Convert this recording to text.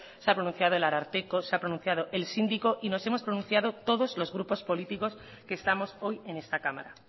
se ha pronunciado el ararteko se ha pronunciado el síndico y nos hemos pronunciado todos los grupos políticos que estamos hoy en esta cámara